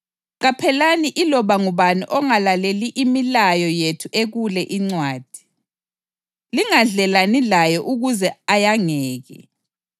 Qaphelani iloba ngubani ongalaleli imilayo yethu ekule incwadi. Lingadlelani laye ukuze ayangeke.